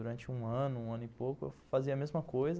Durante um ano, um ano e pouco, eu fazia a mesma coisa.